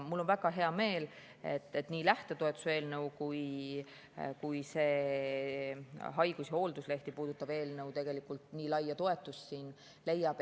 Mul on väga hea meel, et nii lähtetoetuse eelnõu kui ka see haigus‑ ja hoolduslehti puudutav eelnõu siin nii laia toetust leiab.